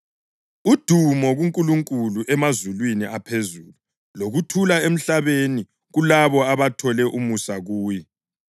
“Udumo kuNkulunkulu emazulwini aphezulu, lokuthula emhlabeni kulabo abathole umusa kuye.”